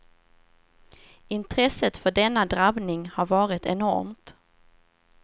Intresset för denna drabbning har varit enormt.